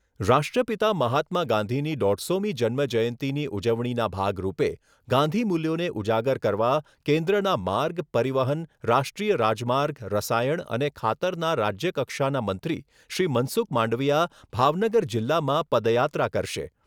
રાષ્ટ્રપિતા મહાત્મા ગાંધીની દોઢસોમી જન્મ જયંતીની ઉજવણીના ભાગ રૂપે ગાંધી મૂલ્યોને ઉજાગર કરવા કેન્દ્રના માર્ગ, પરિવહન, રાષ્ટ્રીય રાજમાર્ગ રસાયણ અને ખાતરના રાજ્ય કક્ષાના મંત્રી શ્રી મનસુખ માંડવીયા ભાવનગર જિલ્લામાં પદયાત્રા કરશે.